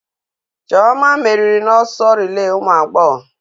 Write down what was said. Chioma merìrì na ọsọ rilee ụmụ agbọghọ.